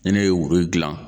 Ni ne ye gilan